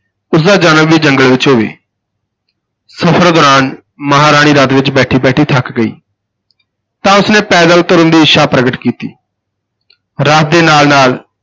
ਉਸ ਦਾ ਜਨਮ ਵੀ ਜੰਗਲ ਵਿਚ ਹੋਵੇ ਸਫਰ ਦੌਰਾਨ ਮਹਾਰਾਣੀ ਰਥ ਵਿਚ ਬੈਠੀ ਬੈਠੀ ਥੱਕ ਗਈ ਤਾਂ ਉਸ ਨੇ ਪੈਦਲ ਤੁਰਨ ਦੀ ਇੱਛਾ ਪ੍ਰਗਟ ਕੀਤੀ ਰਥ ਦੇ ਨਾਲ ਨਾਲ